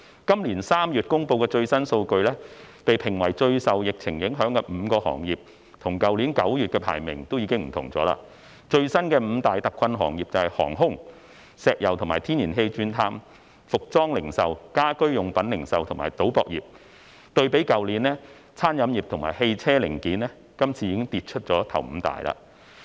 今年3月公布的最新數據，被評為最受疫情影響的5個行業與去年9月的排名已經不同，最新的五大特困行業為航空、石油及天然氣鑽探、服裝零售、家居用品零售，以及賭博業，對比去年，餐飲業及汽車零件今次已跌出首五大。